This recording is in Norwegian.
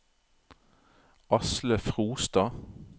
Asle Frostad